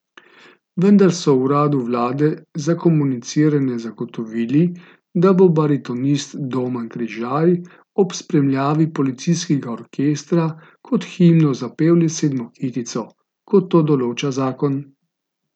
Vendar so v uradu vlade za komuniciranje zagotovili, da bo baritonist Domen Križaj ob spremljavi policijskega orkestra kot himno zapel le sedmo kitico, kot to določa zakon.